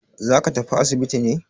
Za ka tafi asibiti ne?